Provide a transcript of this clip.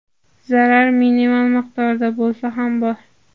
Zarar minimal miqdorda bo‘lsa ham bor.